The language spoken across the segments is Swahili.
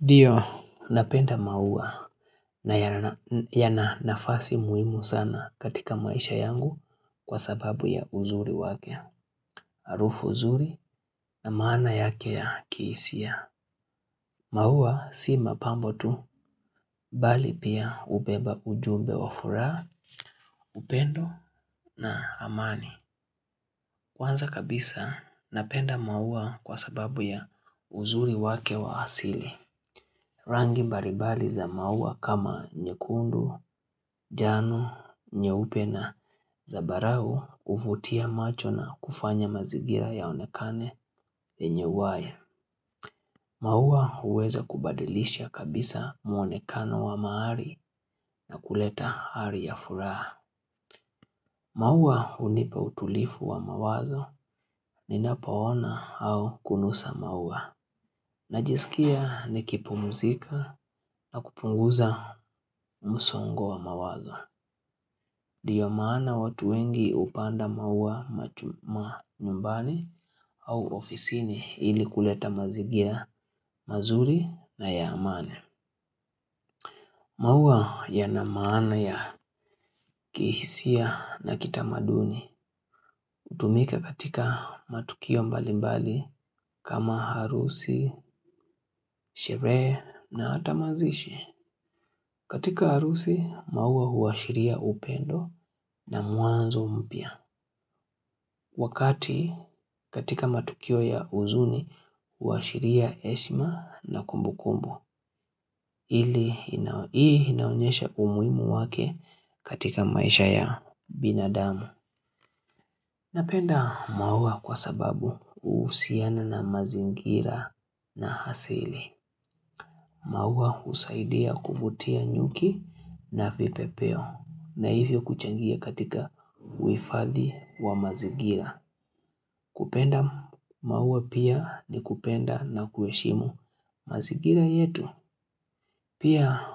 Ndio, napenda maua na yana nafasi muhimu sana katika maisha yangu kwa sababu ya uzuri wake. Harufu nzuri na maana yake ya kihisia. Maua si mapambo tu, mbali pia hubeba ujumbe wa furaha, upendo na amani. Kwanza kabisa, napenda maua kwa sababu ya uzuri wake wa asili. Rangi mbalimbali za maua kama nyekundu, njano, nyeupe na zabarau huvutia macho na kufanya mazigira yaonekane yenye uhai. Maua huweza kubadilisha kabisa muonekano wa mahali na kuleta hali ya furaha. Maua hunipa utulivu wa mawazo ninapo ona au kunusa maua. Najisikia nikipumzika na kupunguza msongo wa mawazo. Ndio maana watu wengi hupanda maua manyumbani au ofisini ili kuleta mazingira mazuri na ya amani. Maua yana maana ya kihisia na kitamaduni hutumika katika matukio mbalimbali kama harusi, sherehe na hata mazishi. Katika harusi, maua huashiria upendo na mwanzo mpya. Wakati, katika matukio ya huzuni, huashiria heshima na kumbu kumbu. Hii inaonyesha umuhimu wake katika maisha ya binadamu. Napenda maua kwa sababu huhusiana na mazingira na asili. Maua husaidia kuvutia nyuki na vipepeo. Na hivyo kuchangia katika uhifadhi wa mazigira. Kupenda maua pia ni kupenda na kuheshimu mazingira yetu. Pia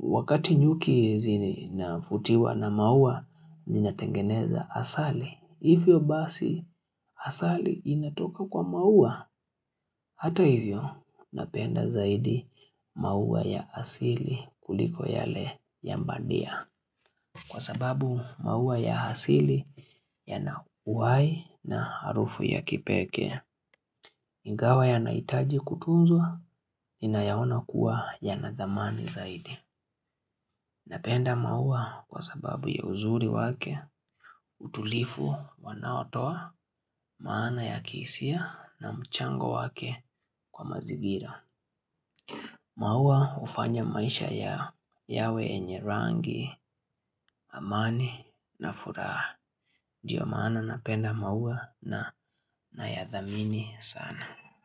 wakati nyuki zinavutiwa na maua zinatengeneza asali. Hivyo basi asali inatoka kwa maua. Hata hivyo napenda zaidi maua ya asili kuliko yale ya badia. Kwa sababu maua ya asili yana uhai na harufu ya kipekee ingawa yanahitaji kutunzwa ninayaona kuwa yana dhamani zaidi. Napenda maua kwa sababu ya uzuri wake utulivu wanaotoa maana ya kihisia na mchango wake kwa mazingira. Maua hufanya maisha yawe harusiyenye rangi, amani na furaha ndio maana na penda maua na nayadhamini sana.